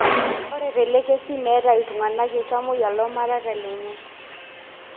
Ore telekesi, metaa iltunganak ltamoyia lomareita lenye.